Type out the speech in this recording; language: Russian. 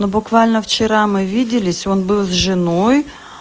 буквально вчера мы виделись он был с женой